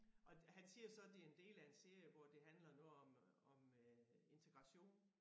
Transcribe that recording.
Og han siger så det en del af en serie hvor det handler noget om om øh integration